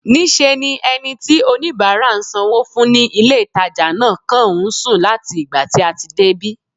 Níṣe ni ẹni tí oníbàárà ń sanwó fún ní ilé-ìtàjà náà kàn ń sùn láti ìgbà tí a ti débí